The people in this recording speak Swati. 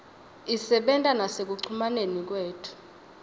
isebenta nasekucumaneni kwethu